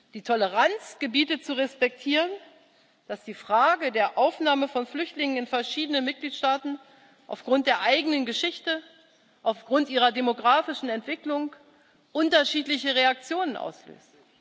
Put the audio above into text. Die Toleranz gebietet zu respektieren, dass die Frage der Aufnahme von Flüchtlingen in verschiedenen Mitgliedstaaten aufgrund der eigenen Geschichte, aufgrund ihrer demografischen Entwicklung unterschiedliche Reaktionen auslöst.